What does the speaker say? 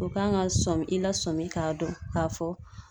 U kan ka sɔmin i la sɔmi k'a dɔn k'a fɔ.